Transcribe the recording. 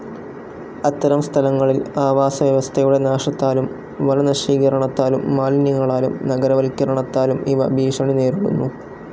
അത്തരം സ്ഥലങ്ങളിൽ ആവാസവ്യവസ്ഥയുടെ നാശത്താലും വനനശീകരണാത്താലും മാലിന്യങ്ങളാലും നഗരവൽക്കരണത്താലും ഇവ ഭീഷണി നേരിടുന്നു.